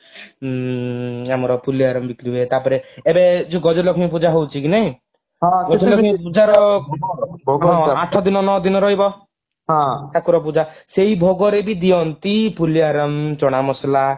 ଉଁ ଆମର ପୁଲିଆରମ ବିକ୍ରି ହୁଏ ତାପରେ ଏବେ ଯଉ ଗଜଲକ୍ଷ୍ମୀ ପୂଜା ହଉଛି କି ନାହିଁ ପୂଜାର ଆଠ ଦିନ ନଅ ଦିନ ରହିବ ଠାକୁର ପୂଜା ସେଇ ଭୋଗ ରେ ବି ଦିଅନ୍ତି ପୁଲିଆରମ ଚଣା ମସଲା